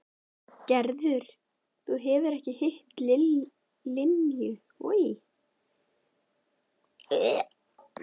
Gerður, þú hefur ekki hitt Linju sagði Tóti brosandi.